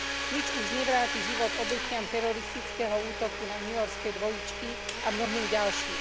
Nič už nevráti život obetiam teroristického útoku na newyorské dvojičky a mnohým ďalším.